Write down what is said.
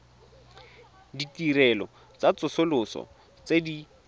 ditirelo tsa tsosoloso tse di